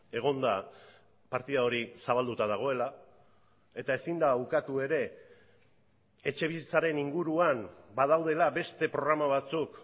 egon da partida hori zabalduta dagoela eta ezin da ukatu ere etxebizitzaren inguruan badaudela beste programa batzuk